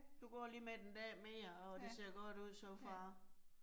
Du går lige med en dag mere, og det ser godt ud so far